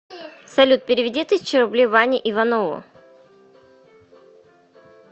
салют переведи тысячу рублей ване иванову